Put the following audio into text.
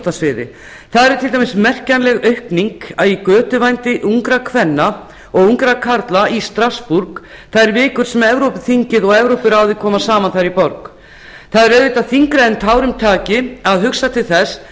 íþróttasviði til dæmis er merkjanleg aukning í götuvændi ungra kvenna og ungra karla í strassborg þær vikur sem evrópuþingið og evrópuráðið koma saman þar í borg það er auðvitað þyngra en tárum taki að hugsa til þess